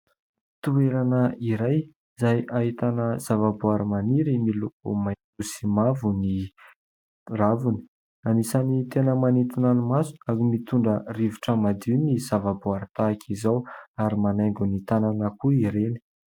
Toerana iray izay ahitana zava-boary maniry, miloko maitso sy mavo ny raviny. Anisan'ny tena manitina ny maso ary mitondra rivotra madio ny zava-boary tahaka izao ary manaingo ny tanàna koa ireny.